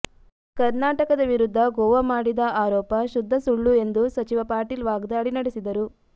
ಕರ್ನಾಟಕದ ವಿರುದ್ಧ ಗೋವಾ ಮಾಡಿದ ಆರೋಪ ಶುದ್ಧ ಸುಳ್ಳು ಎಂದು ಸಚಿವ ಪಾಟೀಲ್ ವಾಗ್ದಾಳಿ ನಡೆಸಿದರು